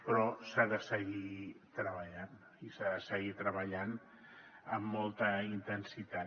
però s’ha de seguir treballant i s’ha de seguir treballant amb molta intensitat